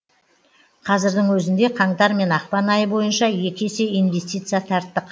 қазірдің өзінде қаңтар мен ақпан айы бойынша екі есе инвестиция тарттық